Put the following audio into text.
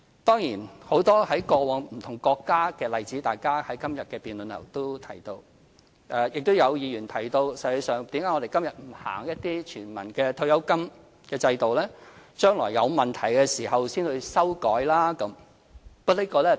當然，大家在今天的辯論也提到很多過往在不同國家的例子；也有議員提到為何我們今天不實行一些全民的退休金制度，待將來有問題時才作修改？